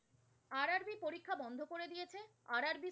RRB